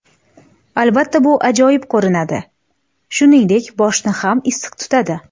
Albatta, bu ajoyib ko‘rinadi, shuningdek, boshni ham issiq tutadi.